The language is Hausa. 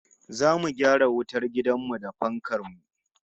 Zamu gyara wutar dakin mu da fankar mu